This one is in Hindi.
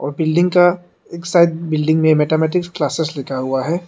और बिल्डिंग का एक साइड बिल्डिंग मे मैथेमेटिक्स क्लासेस लिखा हुआ है।